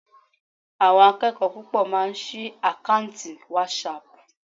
Àwọn akẹ́kọ̀ọ́ púpọ̀ máa sí àkáùntì wásaàpù.